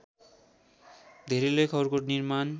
धेरै लेखहरूको निर्माण